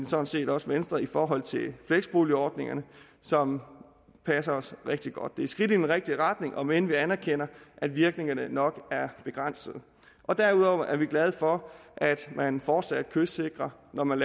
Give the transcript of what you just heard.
sådan set også venstre i forhold til fleksboligordningen som passer os rigtig godt et skridt i den rigtige retning om end vi anerkender at virkningerne nok er begrænsede derudover er vi glade for at man fortsat kystsikrer når man